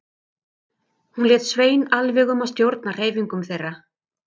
Hún lét Svein alveg um að stjórna hreyfingum þeirra.